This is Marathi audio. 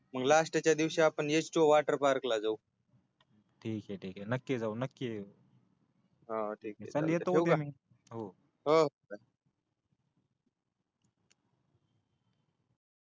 लास्टच्या दिवशी आपण एचपीओ वाटर पारकला जाऊ ठिकय ठिकय नक्की जाऊ नक्की जाऊ ठीकय ठेवू का मी हो हो